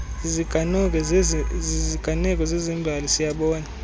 ziziganeko zezembali siyabona